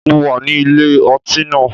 Mo wà ní ilé ọtí náà.